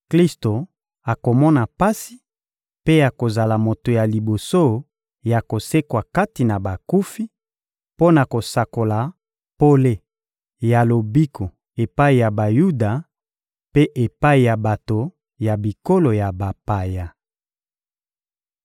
Klisto akomona pasi mpe akozala moto ya liboso ya kosekwa kati na bakufi mpo na kosakola pole ya lobiko epai ya Bayuda mpe epai ya bato ya bikolo ya bapaya.